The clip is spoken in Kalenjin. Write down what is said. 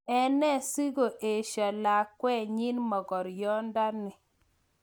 ene sigo esho-o lakwetnyin mogoryondani